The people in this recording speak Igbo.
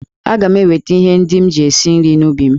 Aga m eweta ihe ndị m ji esi nri n'ubi m.